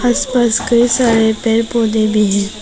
इस पर कई सारे पेड़ पौधे भी हैं।